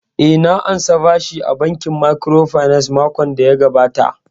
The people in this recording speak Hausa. Eh, na ansa bashi a bankin microfinance makon daya gabata